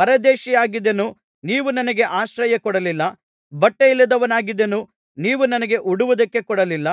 ಪರದೇಶಿಯಾಗಿದ್ದೆನು ನೀವು ನನಗೆ ಆಶ್ರಯ ಕೊಡಲಿಲ್ಲ ಬಟ್ಟೆಯಿಲ್ಲದವನಾಗಿದ್ದೆನು ನೀವು ನನಗೆ ಉಡುವುದಕ್ಕೆ ಕೊಡಲಿಲ್ಲ